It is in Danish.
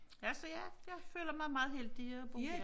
Ja så ja jeg føler mig meget heldig at bo her